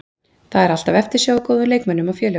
Það er alltaf eftirsjá af góðum leikmönnum og félögum.